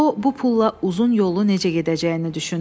O, bu pulla uzun yollu necə gedəcəyini düşündü.